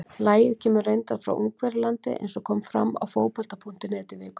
Lagið kemur reyndar frá Ungverjalandi eins og kom fram á Fótbolta.net í vikunni.